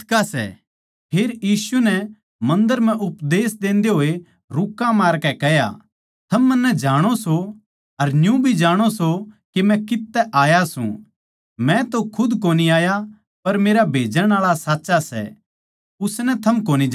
फेर यीशु नै मन्दर म्ह उपदेश देन्दे होए रूक्का मारकै कह्या थम मन्नै जाणो सो अर न्यू भी जाणो सो के मै कित्त तै आया सूं मै तै खुद कोनी आया पर मेरा भेजण आळा साच्चा सै उसनै थम कोनी जाणदे